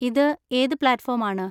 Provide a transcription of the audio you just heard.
ഇത് ഏത് platform ആണ്?